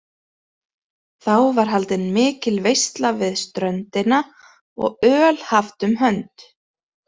Þá var haldin mikil veisla við ströndina og öl haft um hönd.